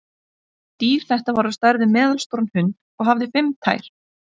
Dýr þetta var á stærð við meðalstóran hund og hafði fimm tær.